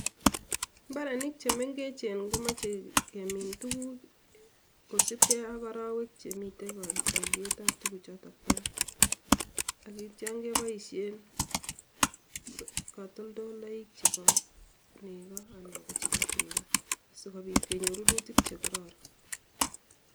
mbarenik che mengechen komoche kemin tuguk kosubgei ak arowek chemitei kolyetab tugukchotok barak angityon keboisyen katoltoloik chebo nego anan ko chebo tuga sigobit kenyor rurutik chegororon